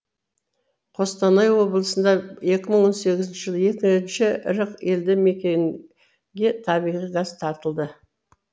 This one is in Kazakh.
қостанай облысында екі мың он сегізінші жылы екінші ірі елді мекенге табиғи газ тартылды